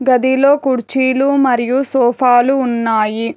గదిలో కుర్చీలు మరియు సోఫాలు ఉన్నాయి.